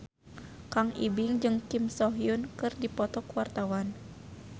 Kang Ibing jeung Kim So Hyun keur dipoto ku wartawan